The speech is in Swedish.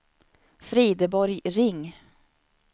Frideborg Ring